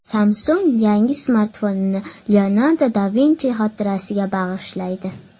Samsung yangi smartfonini Leonardo da Vinchi xotirasiga bag‘ishlaydi .